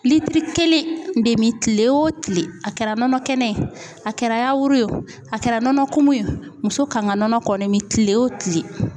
Litiri kelen de mi kile wo kile . A kɛra nɔnɔ kɛnɛ ye, a kɛra yawuru ye wo a kɛra nɔnɔ kumu ye o muso kan ka nɔnɔ kɔni mi kile wo kile.